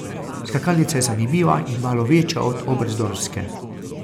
Skakalnica je zanimiva in malo večja od oberstdorfske.